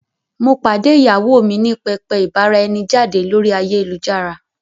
Mo pàdé ìyàwó mi ní pẹpẹ ìbára-ẹni-jáde lórí ayélujára.